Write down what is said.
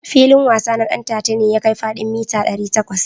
Filin wasa na Ɗantata ne ya kai fadin mita dari takwas.